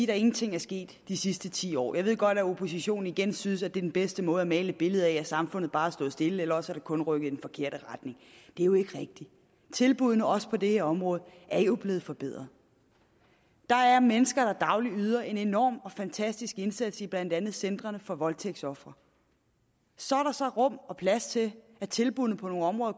der ingenting er sket de sidste ti år jeg ved godt at oppositionen synes at det er den bedste måde at male et billede af at samfundet bare har stået stille eller også at det kun er rykket i den forkerte retning det er jo ikke rigtigt tilbuddene på også det her område er blevet forbedret der er mennesker der dagligt yder en enorm fantastisk indsats i blandt andet centrene for voldtægtsofre så er der så rum og plads til at tilbuddene på nogle områder